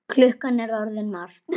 Klukkan er orðin margt.